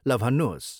ल भन्नुहोस्।